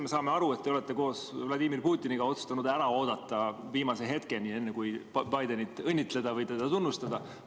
Me saame aru, et te olete koos Vladimir Putiniga otsustanud oodata viimase hetkeni, enne kui Bidenit õnnitleda või teda tunnustada.